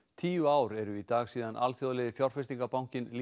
tíu ár eru í dag síðan alþjóðlegi fjárfestingarbankinn